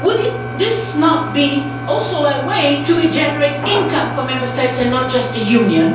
Would this not be also a way to regenerate income for Member States, and not just the Union?